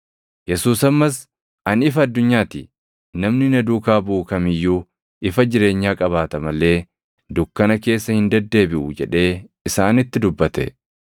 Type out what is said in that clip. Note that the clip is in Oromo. Yesuus ammas, “Ani ifa addunyaa ti. Namni na duukaa buʼu kam iyyuu ifa jireenyaa qabaata malee dukkana keessa hin deddeebiʼu” jedhee isaanitti dubbate.